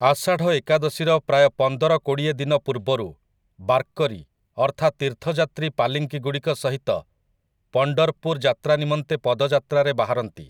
ଆଷାଢ଼ ଏକାଦଶୀର ପ୍ରାୟ ପନ୍ଦର କୋଡ଼ିଏ ଦିନ ପୂର୍ବରୁ ବାର୍କରୀ ଅର୍ଥାତ୍ ତୀର୍ଥଯାତ୍ରୀ ପାଲିଙ୍କିଗୁଡ଼ିକ ସହିତ ପଣ୍ଡର୍‌ପୁର୍ ଯାତ୍ରା ନିମନ୍ତେ ପଦଯାତ୍ରାରେ ବାହାରନ୍ତି ।